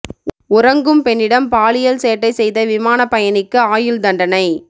உறங்கும் பெண்ணிடம் பாலியல் சேட்டை செய்த விமானப் பயணிக்கு ஆயுள் தண்டனை